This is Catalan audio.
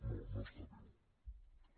no no està viu